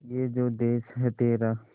ये जो देस है तेरा